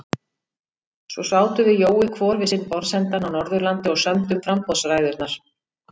Svo sátum við Jói hvor við sinn borðsendann á Norðurlandi og sömdum framboðsræðurnar.